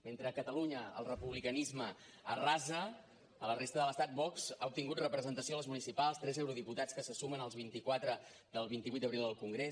mentre a catalunya el republicanisme arrasa a la resta de l’estat vox ha obtingut representació a les municipals tres eurodiputats que se sumen als vint i quatre del vint vuit d’abril al congrés